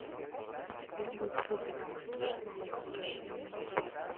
у тебя будет хоббит пустошь смауга расширенная версия